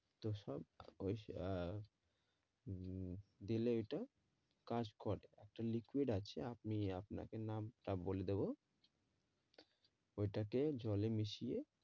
তো সব উম দিলে এটা কাজ করে একটা liquid আছে আপনি আপনাকে নামতা বলে দেব ওই টা কে জলে মিশিয়ে